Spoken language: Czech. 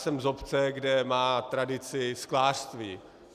Jsem z obce, kde má tradici sklářství.